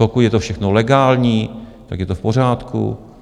Pokud je to všechno legální, tak je to v pořádku.